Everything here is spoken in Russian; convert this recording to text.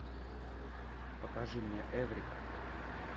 покажи мне эврика